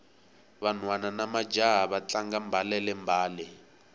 vanhwana namajaha va tlanga mbalele mbale